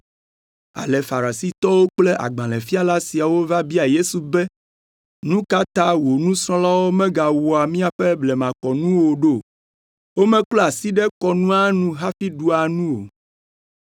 Ale Farisitɔwo kple agbalẽfiala siawo va bia Yesu be, “Nu ka ta wò nusrɔ̃lawo megawɔa míaƒe blemakɔnu o ɖo? Womeklɔa asi ɖe kɔnua nu hafi ɖua nu o.”